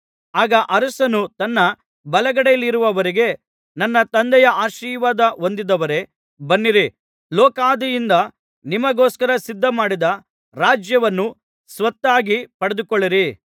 ಆಗ ಅರಸನು ತನ್ನ ಬಲಗಡೆಯಲ್ಲಿರುವವರಿಗೆ ನನ್ನ ತಂದೆಯ ಆಶೀರ್ವಾದ ಹೊಂದಿದವರೇ ಬನ್ನಿರಿ ಲೋಕಾದಿಯಿಂದ ನಿಮಗೋಸ್ಕರ ಸಿದ್ಧಮಾಡಿದ ರಾಜ್ಯವನ್ನು ಸ್ವತ್ತಾಗಿ ಪಡೆದುಕೊಳ್ಳಿರಿ